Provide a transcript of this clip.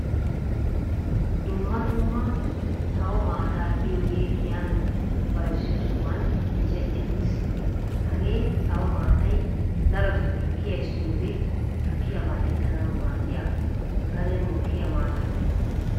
Dumma dumma sawo maataa giyoogee giyaan bayzziyoo sohuwaan micceti uttiis. Hagee sawo maatay darotoo tukkiya essiyoode tukkiyaa mal"ettanawu maddiyaa gaden mokkiyaa maata.